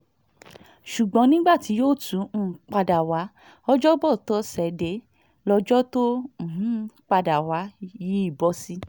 ṣùgbọ́n nígbà tí yóò tún um padà wá ọjọ́bọ tọ́sídẹ̀ẹ́ lọ́jọ́ tó um padà wá yìí bọ́ sí